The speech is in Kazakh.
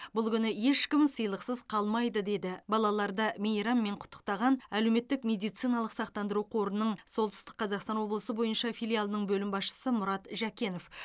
бұл күні ешкім сыйлықсыз қалмайды деді балаларды мейраммен құттықтаған әлеуметтік медициналық сақтандыру қорының солтүстік қазақстан облысы бойынша филиалының бөлім басшысы мұрат жәкенов